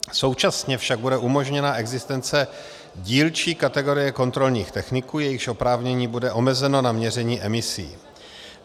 Současně však bude umožněna existence dílčí kategorie kontrolních techniků, jejichž oprávnění bude omezeno na měření emisí.